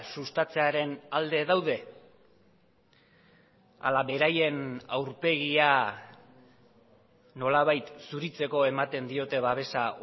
sustatzearen alde daude ala beraien aurpegia nolabait zuritzeko ematen diote babesa